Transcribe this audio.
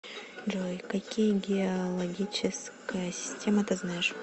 джой какие геологическая система ты знаешь